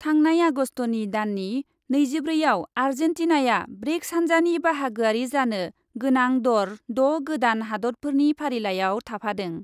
थांनाय आगस्टनि दाननि नैजिब्रैआव आर्जेन्टिनाया ब्रिक्स हान्जानि बाहागोआरि जानो गोनां दर द' गोदान हादतफोरनि फारिलाइयाव थाफादों ।